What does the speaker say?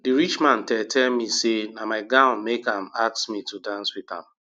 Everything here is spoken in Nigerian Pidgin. the rich man tell tell me say na my gown make am ask me to dance with am